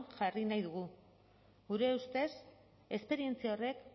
jarri nahi dugu gure ustez esperientzia horrek